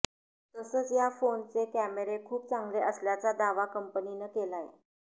तसंच या फोनचे कॅमेरे खूप चांगले असल्याचा दावा कंपनीनं केलाय